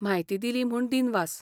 म्हायती दिली म्हूण दिनवास.